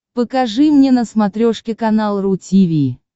покажи мне на смотрешке канал ру ти ви